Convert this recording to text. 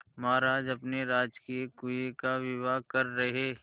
महाराज अपने राजकीय कुएं का विवाह कर रहे